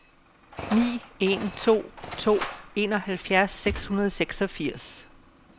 ni en to to enoghalvfjerds seks hundrede og seksogfirs